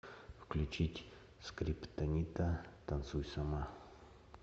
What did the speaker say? включить скриптонита танцуй сама